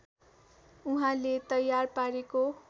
उहाँले तयार पारेको